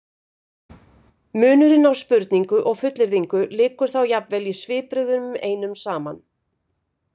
Munurinn á spurningu og fullyrðingu liggur þá jafnvel í svipbrigðunum einum saman.